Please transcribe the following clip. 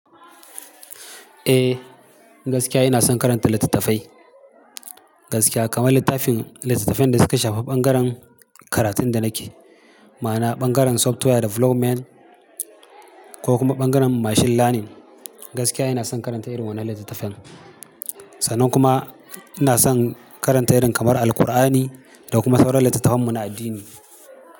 Eh, gaskiya ina son karanta litattafai gaskiya kamar littafin litattafen da suka shafi ɓangaren karatun da nake, ma'ana ɓangaren software development ko kuma ɓangaren machine learning. Gaskiya ina son karanta irin wannan litattafen. Sannan kuma ina son karanta irin kamar Alkur'ani da kuma sauran litattafan muna addini.